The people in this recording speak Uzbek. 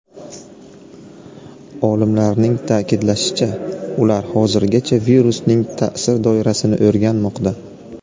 Olimlarning ta’kidlashicha, ular hozirgacha virusning ta’sir doirasini o‘rganmoqda.